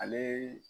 Ale